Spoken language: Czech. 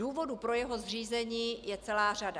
Důvodů pro jeho zřízení je celá řada.